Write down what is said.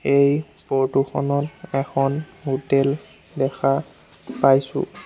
এই ফৰটো খনত এখন হোটেল দেখা পাইছোঁ।